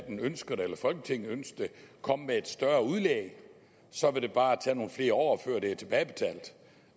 ønsker det komme med et større udlæg så vil det bare tage nogle flere år før det er tilbagebetalt